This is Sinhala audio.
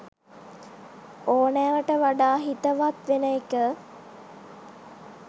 ඕනෑවට වඩා හිතවත් වෙන එක.